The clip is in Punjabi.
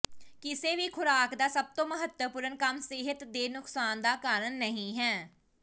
ਕਿਸੇ ਵੀ ਖੁਰਾਕ ਦਾ ਸਭ ਤੋਂ ਮਹੱਤਵਪੂਰਣ ਕੰਮ ਸਿਹਤ ਦੇ ਨੁਕਸਾਨ ਦਾ ਕਾਰਨ ਨਹੀਂ ਹੈ